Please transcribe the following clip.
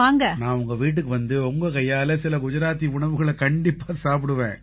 நான் உங்க வீட்டுக்கு வந்து உங்க கையால சில குஜராத்தி உணவுகளை கண்டிப்பா சாப்பிடுவேன்